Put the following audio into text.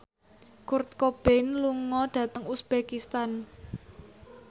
Kurt Cobain lunga dhateng uzbekistan